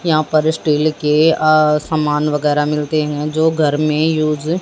यहां पर स्टील के अ सामान वगैरा मिलते हैं जो घर में यूज --